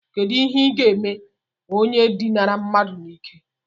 Kedu ihe ga-eme onye dinara mmadu n'ike?